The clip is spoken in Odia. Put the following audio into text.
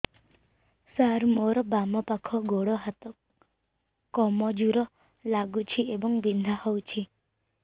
ସାର ମୋର ବାମ ପାଖ ଗୋଡ ହାତ କମଜୁର ଲାଗୁଛି ଏବଂ ବିନ୍ଧା କରୁଛି